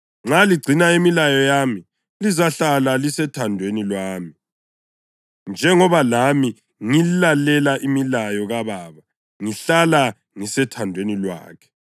Nxa ligcina imilayo yami, lizahlala lisethandweni lwami, njengoba lami ngilalele imilayo kaBaba ngihlala ngisethandweni lwakhe.